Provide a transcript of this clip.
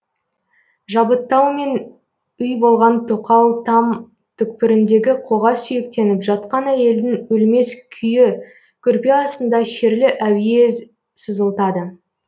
жабыттаумен үй болған тоқал там түкпіріндегі қоға сүйектеніп жатқан әйелдің өлмес күйі көрпе астында шерлі әуез сызылтады